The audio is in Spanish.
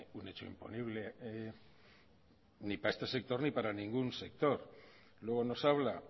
un hecho imponible ni para este sector ni para ningún sector luego nos habla